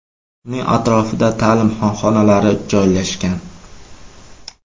Uning atrofida ta’lim xonalari joylashgan.